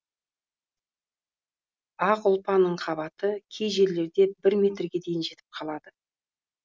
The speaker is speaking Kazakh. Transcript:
ақ ұлпаның қабаты кей жерлерде бір метрге дейін жетіп қалады